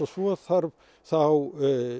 svo þarf þá